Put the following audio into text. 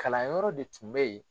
Kalan yɔrɔ de tun bɛ ye.